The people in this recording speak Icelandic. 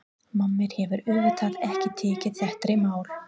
Mamma hefur auðvitað ekki tekið þetta í mál.